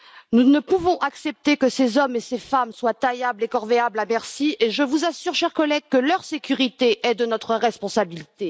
Nous ne pouvons accepter que ces hommes et ces femmes soient taillables et corvéables à merci, et je vous assure, chers collègues, que leur sécurité est de notre responsabilité.